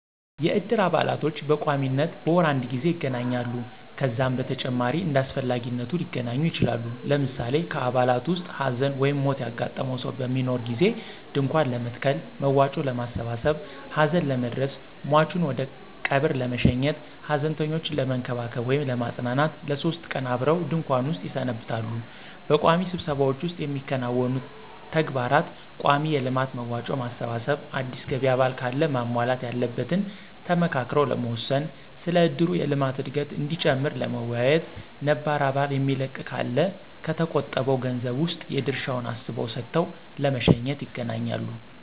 የእድር አባላቶች በቋሚነት በወር አድ ጊዜ ይገናኛሉ። ከዛም በተጨማሪ እንዳስፈላጊነቱ ሊገናኙ ይችላሉ። ለምሳሌ ከአባላቱ ዉስጥ ሀዘን/ሞት ያጋጠመው ሰው በሚኖር ጊዜ ድንኳን ለመትከል፣ መዋጮ ለማሠባሠብ፣ ሀዘን ለመድረስ፣ ሟቹን ወደቀብር ለመሸኘት፣ ሀዘንተኞችን ለመንከባከብ /ለማጽናናት ለሶስት ቀን አብረው ድንኩዋን ዉስጥ ይሰነብታሉ። በቋሚ ስብሰባዎች ዉስጥ የሚያከናውኑት ተግባር :ቋሚ የልማት መዋጮ ማሰባሰብ፣ አዲስ ገቢ አባል ካለ ማሟላት ያለበትን ተመካክረው ለመወሰን፣ ስለ እድሩ የልማት እድገት እዲጨምር ለመወያየት፣ ነባር አባል የሚለቅ ካለ ከተቆጠበዉ ገንዘብ ዉስጥ የድርሻዉን አስበው ሰጥተው ለመሸኘት ___ይገናኛሉ።